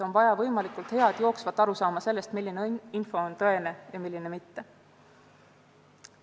On vaja võimalikult head jooksvat arusaama sellest, milline info on tõene ja milline mitte.